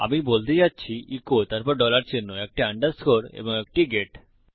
আমি বলতে যাচ্ছি ইকো তারপর ডলার চিহ্ন একটি আন্ডারস্কোর এবং একটি গেট